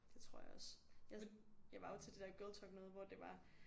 Det tror jeg også jeg jeg var jo til det der girltalk noget hvor det var